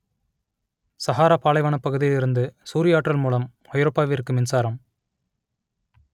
சகாரா பாலைவனப் பகுதியிலிருந்து சூரிய ஆற்றல் மூலம் ஐரோப்பாவிற்கு மின்சாரம்